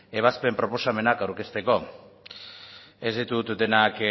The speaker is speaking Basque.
ebazpen proposamenak aurkezteko ez ditut denak